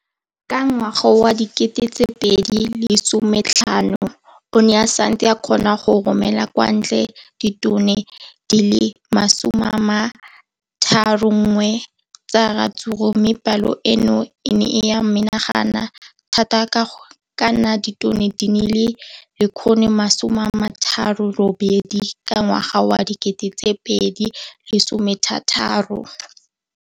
Ka ngwaga wa 2015, o ne a setse a kgona go romela kwa ntle ditone di le 31 tsa ratsuru mme palo eno e ne ya menagana thata go ka nna ditone di le 168 ka ngwaga wa 2016.